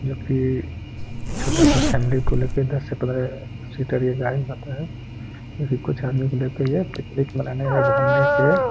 जो कि छोटा-सा फॅमिली को लेके दस से पंद्रह सीटर ये गाडी होता है जो कि कुछ आदमी को लेके यह पिकनिक मानाने या घूमने के --